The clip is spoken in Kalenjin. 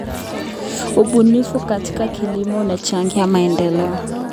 Ubunifu katika kilimo unachangia maendeleo.